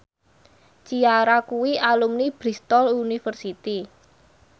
Ciara kuwi alumni Bristol university